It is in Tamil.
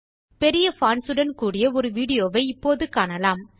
பெரிய பான்ட்ஸ் உடன் கூடிய ஒரு வீடியோவை இப்போது காணலாம்